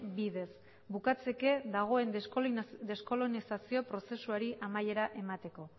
bidez bukatzeke dagoen deskolonizazio prozesuari amaiera emateko